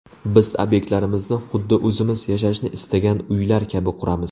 Biz obyektlarimizni, huddi o‘zimiz yashashni istagan uylar kabi quramiz.